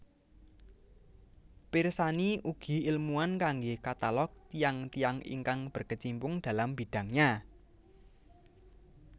Pirsani ugi ilmuwan kanggé katalog tiyang tiyang ingkang berkecimpung dalam bidangnya